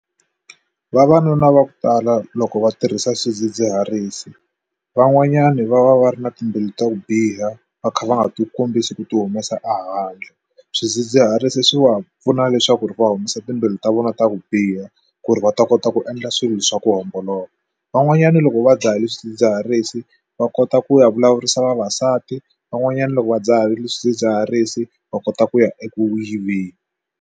Vavanuna va ku tala loko va tirhisa swidzidziharisi van'wanyani va va va ri na timbilu ta ku biha va kha va nga ti kombisi ku ti humesa ehandle swidzidziharisi swi va pfuna leswaku ri va humesa timbilu ta vona ta ku biha ku ri va ta kota ku endla swilo leswa ku homboloka van'wanyana loko va dzahile swidzidziharisi va kota ku ya vulavurisa vavasati van'wanyana loko va dzahile swidzidziharisi va kota ku ya eku yiveni.